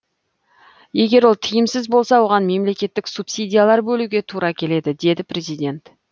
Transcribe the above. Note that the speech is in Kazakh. егер ол тиімсіз болса оған мемлекеттік субсидиялар бөлуге тура келеді деді президент